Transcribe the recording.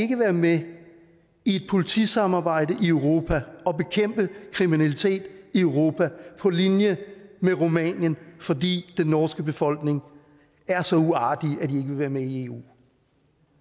ikke være med i et politisamarbejde i europa og bekæmpe kriminalitet i europa på linje med rumænien fordi den norske befolkning er så uartige at de ikke være med i eu